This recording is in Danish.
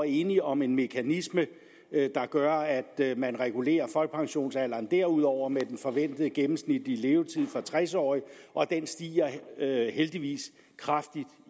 enige om en mekanisme der gør at man regulerer folkepensionsalderen derudover med den forventede gennemsnitlige levetid for tres årige og den stiger heldigvis kraftigt